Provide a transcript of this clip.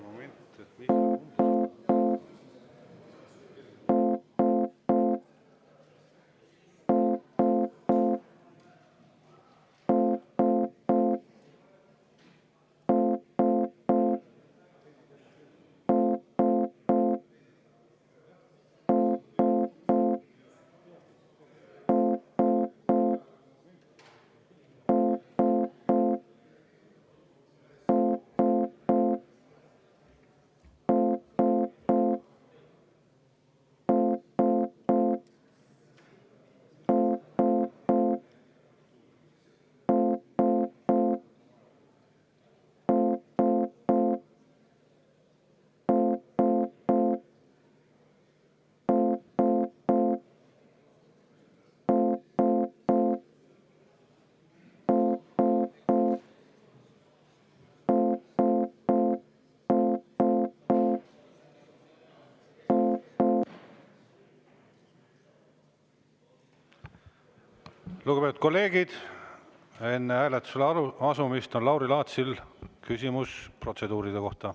Lugupeetud kolleegid, enne hääletuse juurde asumist on Lauri Laatsil küsimus protseduuride kohta.